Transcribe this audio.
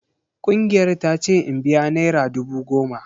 Kungiyar ta ce in biya naira dubu goma.